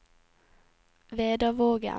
Vedavågen